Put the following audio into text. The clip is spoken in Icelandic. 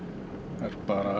er